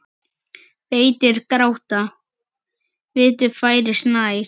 Vættir gráta, vetur færist nær.